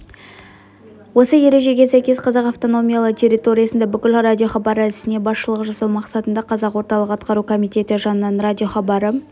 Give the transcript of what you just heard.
осы ережеге сәйкес қазақ автономиялы территориясында бүкіл радиохабары ісіне басшылық жасау мақсатында қазақ орталық атқару комитеті жанынан радиохабары